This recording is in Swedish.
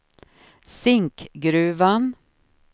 Zinkgruvan